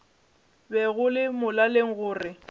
be go le molaleng gore